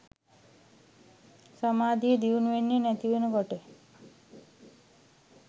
සමාධිය දියුණු වෙන්නෙ නැතිවෙන කොට